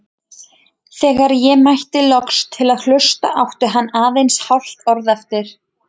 Þegar ég mætti loks til að hlusta átti hann aðeins hálft orð eftir.